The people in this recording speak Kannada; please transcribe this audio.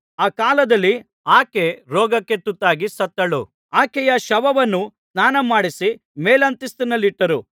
ಆ ಕಾಲದಲ್ಲಿ ಆಕೆ ರೋಗಕ್ಕೆ ತುತ್ತಾಗಿ ಸತ್ತಳು ಆಕೆಯ ಶವವನ್ನು ಸ್ನಾನಮಾಡಿಸಿ ಮೇಲಂತಸ್ತಿನಲ್ಲಿಟ್ಟರು